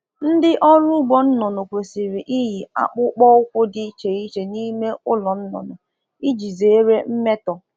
Ndi na um azụ ọkụkọ um kwesiri ị na eyi akpụkpọ ụkwụ dị iche iche n'ime ụlọ ọkụkọ iji gbochie mmetọsị/mmerụ